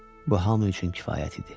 Bu hamı üçün kifayət idi.